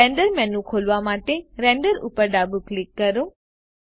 render menu ખોલવા માટે render ઉપર ડાબું ક્લિક કરો